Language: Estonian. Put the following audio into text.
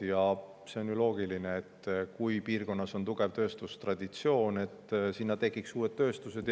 Ja on ju loogiline, et kui piirkonnas on tugev tööstustraditsioon, siis sinna võiksid tekkida uued tööstused.